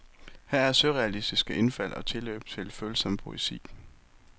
Her er surrealistiske indfald og tilløb til følsom poesi.